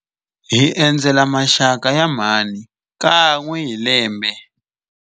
Hi endzela maxaka ya mhani kan'we hi lembe.